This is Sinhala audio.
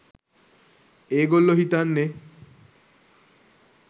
ඒගොල්ලො හිතන්නේ